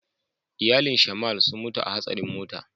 Iyalin "shamal" sun mutu a hasarin mota.